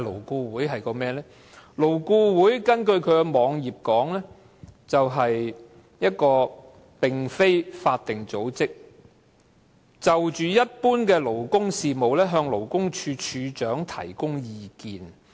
根據勞顧會的網頁，勞顧會"是一個非法定組織，就一般勞工事務，向勞工處處長提供意見。